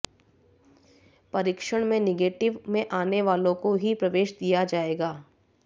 परीक्षण में निगेटिव में आने वालों को ही प्रवेश दिया जायेगा